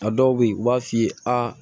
A dɔw bɛ yen u b'a f'i ye aa